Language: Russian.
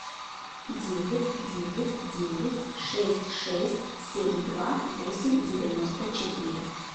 девять девять девять шесть шесть семь два восемь девяносто четыре